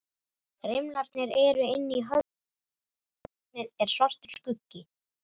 Rimlarnir eru inni í höfðinu, kalt járnið er svartur skuggi.